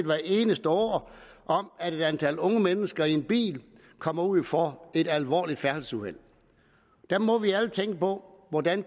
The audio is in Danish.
hver eneste år om at et antal unge mennesker i bil kommer ud for et alvorligt færdselsuheld der må vi alle tænke på hvordan